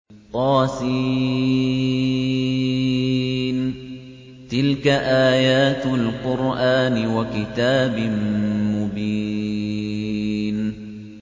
طس ۚ تِلْكَ آيَاتُ الْقُرْآنِ وَكِتَابٍ مُّبِينٍ